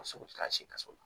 Sogo taara sikaso